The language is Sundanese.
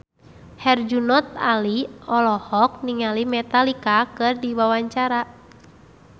Herjunot Ali olohok ningali Metallica keur diwawancara